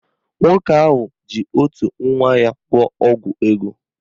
Nwoke ahụ ji otu nwa ya gwọọ ọgwụ ego